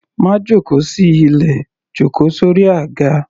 Má jóko sí ilẹ̀, jó ko sórí àga.